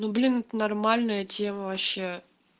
ну блин это нормальная тема вообще